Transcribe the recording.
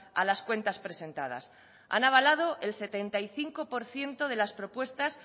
a las cuentas presentadas han avalado el setenta y cinco por ciento de las propuestas